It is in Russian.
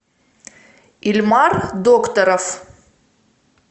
ильмар докторов